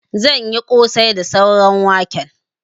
Zan yi ƙosai da sauran waken.